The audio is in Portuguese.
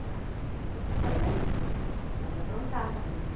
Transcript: Já, já estava grandinha, mas aprontava ainda.